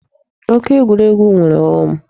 Oke ekwurekwu nwere ọghọm.